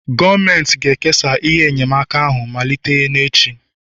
Gọọmenti ga-ekesa ihe enyemaka ahụ malite n'echi